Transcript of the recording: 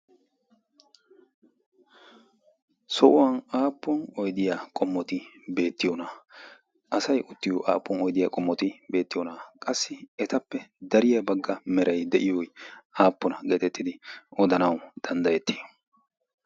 sohuwan aappun oydiyaa qommoti beettiyoonaa? asay uttiyo aappuwon oidiyaa qommoti beettiyoonaa qassi etappe dariyaa bagga merai de'iyo aappona geetettidi odanau danddayetti?